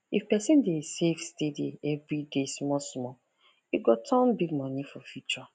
if person dey save steady every day small small e go turn big money for future